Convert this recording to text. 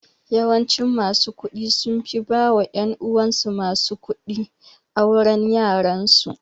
Yawancin masu kuɗi sunfi ba wa ƴan uwansu masu kuɗi auren yaransu